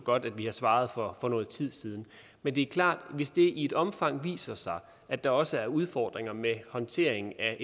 godt at vi har svaret for noget tid siden men det er klart at hvis det i et omfang viser sig at der også er udfordringer med håndteringen af